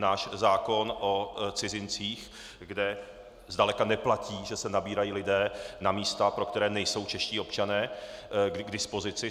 Náš zákon o cizincích, kde zdaleka neplatí, že se nabírají lidé na místa, pro která nejsou čeští občané k dispozici.